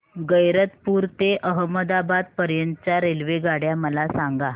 गैरतपुर ते अहमदाबाद पर्यंत च्या रेल्वेगाड्या मला सांगा